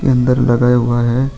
लगा हुआ है।